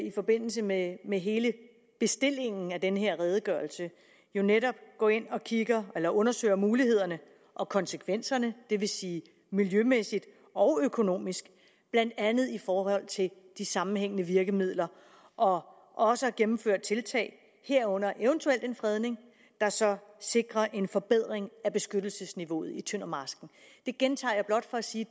i forbindelse med med hele bestillingen af den her redegørelse jo netop går ind og undersøger mulighederne og konsekvenserne det vil sige miljømæssigt og økonomisk blandt andet i forhold til de sammenhængende virkemidler og også gennemfører tiltag herunder eventuelt en fredning der så sikrer en forbedring af beskyttelsesniveauet i tøndermarsken det gentager jeg blot for at sige